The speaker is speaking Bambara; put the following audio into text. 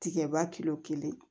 Tigɛba kelen o kelen